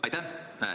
Aitäh!